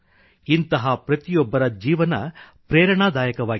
ಇಂತಹ ಪ್ರತಿಯೊಬ್ಬರ ಜೀವನ ಪ್ರೇರಣಾದಾಯಕವಾಗಿದೆ